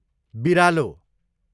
बिरालो